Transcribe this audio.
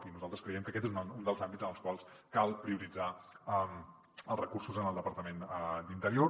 i nosaltres creiem que aquest és un dels àmbits en els quals cal prioritzar els recursos en el departament d’interior